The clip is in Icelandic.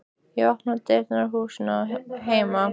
Ég opna dyrnar á húsinu heima.